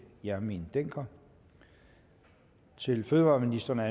hjermind dencker til fødevareministeren er